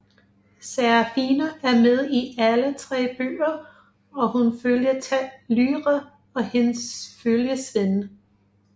Serafina er med i alle 3 bøger og hun følger tæt Lyra og hendes følgesvende